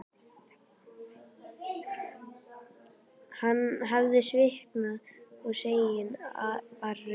Hann hafði svitnað og sængin var rök.